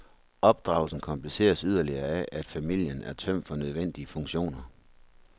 Opdragelsen kompliceres yderligere af, at familien er tømt for nødvendige funktioner.